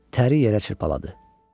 Təri yerə çırpaladı.